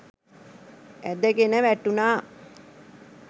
ඇදගෙන වැටුණා.